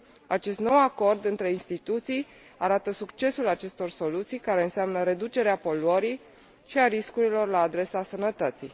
Acest nou acord între instituții arată succesul acestor soluții, care înseamnă reducerea poluării și a riscurilor la adresa sănătății.